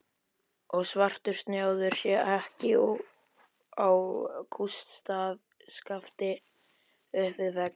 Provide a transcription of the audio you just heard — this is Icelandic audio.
Og svartur snjáður jakki á kústskafti upp við vegg!